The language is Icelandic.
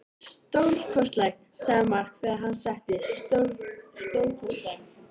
Stórkostlegt, sagði Mark þegar hann settist, stórkostlegt.